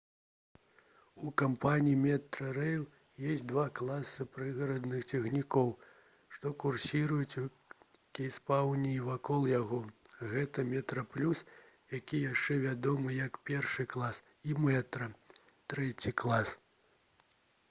у кампаніі «метрарэйл» ёсць два класы прыгарадных цягнікоў што курсіруюць у кейптаўне і вакол яго. гэта «метраплюс» які яшчэ вядомы як першы клас і «метра» трэці клас